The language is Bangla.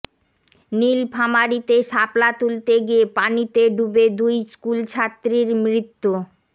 নীলফামারীতে শাপলা তুলতে গিয়ে পানিতে ডুবে দুই স্কুলছাত্রীর মৃত্যু